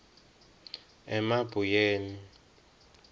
emabuyeni